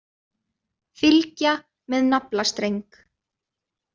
Fylgja með naflastreng.